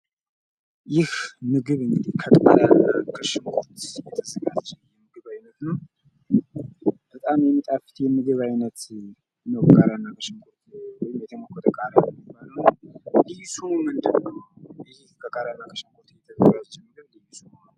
ይህ ምግብ እንግዲህ ከቃሪያ ከሽንኩርት የተዘጋጀ የምግብ አይነት ነው። በጣም የሚጣፍጥ የምግብ ነው። ቃሪያና በሽንኩርት ወይም የተሞከተ ቃሪያ ነው የሚባለውና ኧ ልዩ ስሙ ምንድነው? ይህ በቃሪያና ከሽንኩርት የተዘጋጀ ልዩ ስሙ ማን ነው?